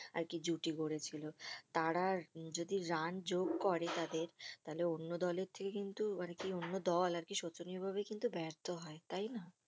আরকি জুটি গড়েছিল তারা আর যদি রান যোগ করে তাদের তাহলে অন্য দলের থেকে কিন্তু আরকি অন্য দল আরকি শোচনীয় ভাবে কিন্তু বার্থ হয় তাইনা?